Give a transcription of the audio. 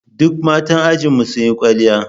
Duk 'yan matan ajinmu sun yi kwalliya